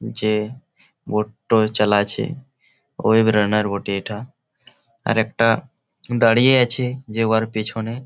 যে বোট টো চালাচ্ছে ওই বেড়ানের বটে এটা আর একটা দাঁড়িয়ে আছে যে উহার পেছনে--